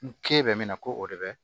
N k'e bɛ min na ko o de bɛ